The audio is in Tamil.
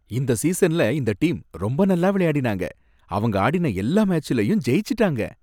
இந்த சீசன்ல இந்த டீம் ரொம்ப நல்லா விளையாடினாங்க, அவங்க ஆடின எல்லா மேட்ச்லயும் ஜெயிச்சுட்டாங்க.